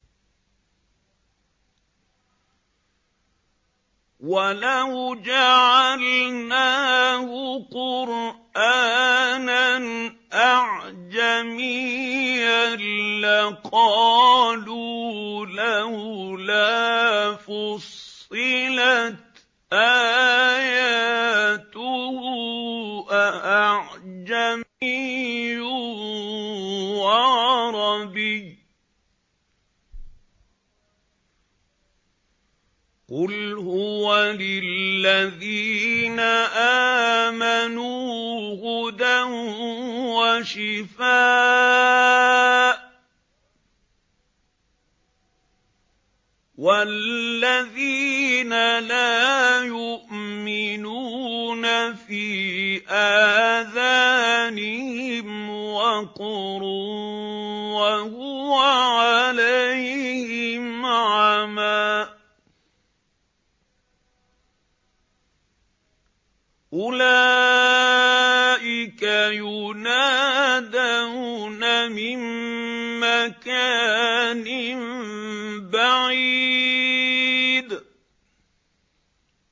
وَلَوْ جَعَلْنَاهُ قُرْآنًا أَعْجَمِيًّا لَّقَالُوا لَوْلَا فُصِّلَتْ آيَاتُهُ ۖ أَأَعْجَمِيٌّ وَعَرَبِيٌّ ۗ قُلْ هُوَ لِلَّذِينَ آمَنُوا هُدًى وَشِفَاءٌ ۖ وَالَّذِينَ لَا يُؤْمِنُونَ فِي آذَانِهِمْ وَقْرٌ وَهُوَ عَلَيْهِمْ عَمًى ۚ أُولَٰئِكَ يُنَادَوْنَ مِن مَّكَانٍ بَعِيدٍ